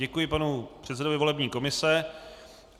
Děkuji panu předsedovi volební komise.